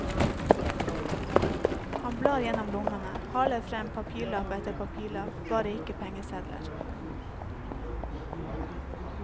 Han blar gjennom lommene, haler frem papirlapp etter papirlapp, bare ikke pengesedler.